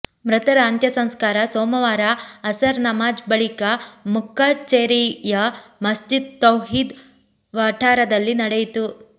ಮೃತರ ಅಂತ್ಯ ಸಂಸ್ಕಾರ ಸೋಮವಾರ ಅಸರ್ ನಮಾಝ್ ಬಳಿಕ ಮುಕ್ಕಚೇರಿಯ ಮಸ್ಜಿದ್ ತೌಹೀದ್ ವಠಾರದಲ್ಲಿ ನಡೆಯಿತು